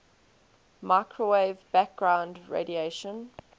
microwave background radiation